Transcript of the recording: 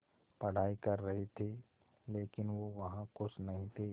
पढ़ाई कर रहे थे लेकिन वो वहां ख़ुश नहीं थे